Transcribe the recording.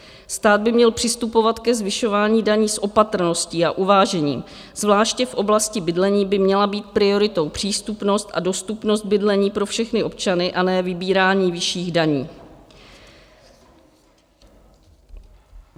Stát by měl přistupovat ke zvyšování daní s opatrností a uvážením, zvláště v oblasti bydlení by měla být prioritou přístupnost a dostupnost bydlení pro všechny občany, a ne vybírání vyšších daní.